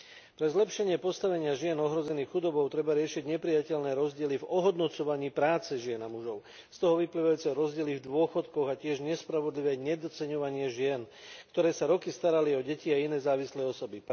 Na zlepšenie postavenia žien ohrozených chudobou treba riešiť neprijateľné rozdiely v ohodnocovaní práce žien a mužov, z toho vyplývajúce rozdiely v dôchodkoch a tiež nespravodlivé nedoceňovanie žien, ktoré sa roky starali o deti a iné závislé osoby.